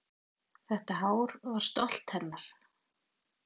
Þetta hár var stolt hennar.